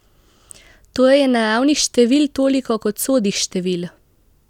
Torej je naravnih števil toliko kot sodih števil!